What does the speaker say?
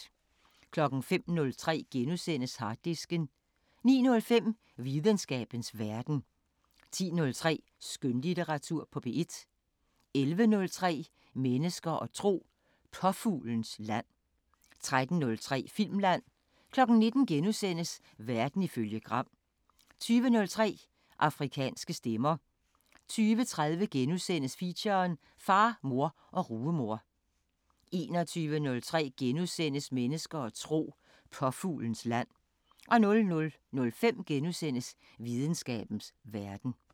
05:03: Harddisken * 09:05: Videnskabens Verden 10:03: Skønlitteratur på P1 11:03: Mennesker og tro: Påfuglens land 13:03: Filmland 19:00: Verden ifølge Gram * 20:03: Afrikanske Stemmer 20:30: Feature: Far, far og rugemor * 21:03: Mennesker og tro: Påfuglens land * 00:05: Videnskabens Verden *